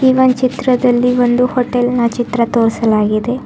ಈ ಒನ್ ಚಿತ್ರದಲ್ಲಿ ಒಂದು ಹೋಟೆಲ್ ನ ಚಿತ್ರ ತೋರಿಸಲಾಗಿದೆ.